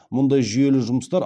мұндай жүйелі жұмыстар